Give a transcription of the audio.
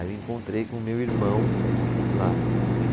Aí eu encontrei com o meu irmão lá.